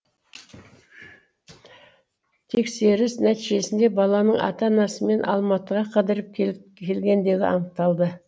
тексеріс нәтижесінде баланың ата анасымен алматыға қыдырып келгендігі анықталды